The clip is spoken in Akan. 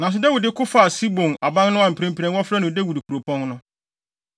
Nanso Dawid ko faa Sion aban no a mprempren wɔfrɛ no Dawid Kuropɔn no.